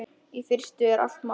Í fyrstu er allt matt.